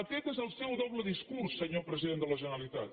aquest és el seu doble discurs senyor president de la generalitat